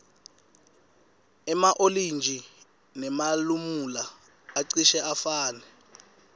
ema olintji nemalamula acishe afane